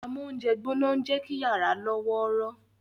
Amóúnjẹgbóná ń jẹ́ kí yàrá lọ́wọ́rọ́